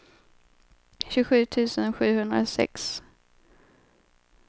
tjugosju tusen sjuhundrasex